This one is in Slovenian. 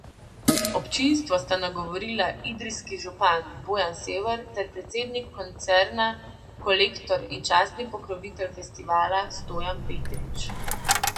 Občinstvo sta nagovorila idrijski župan Bojan Sever ter predsednik koncerna Kolektor in častni pokrovitelj festivala, Stojan Petrič.